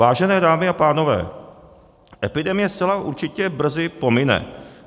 Vážené dámy a pánové, epidemie zcela určitě brzy pomine.